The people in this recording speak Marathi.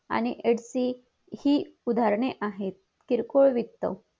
आणि ets हि उदाहरणे आहेत किरकोळ विकत